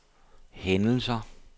hændelser